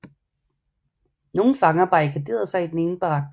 Nogle fanger barrikaderede sig i den ene barak